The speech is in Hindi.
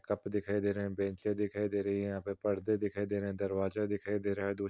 कप दिखाई दे रहे है बेंचे दिखाई दे रहे हैं। यहाँ पे पर्दे दिखाई दे रहे हैं दरवाजा दिखाई दे रहा है दूर।